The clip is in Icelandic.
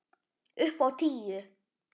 Upp á tíu.